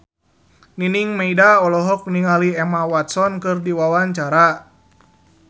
Nining Meida olohok ningali Emma Watson keur diwawancara